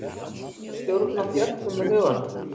er hægt að stjórna þjörkum með huganum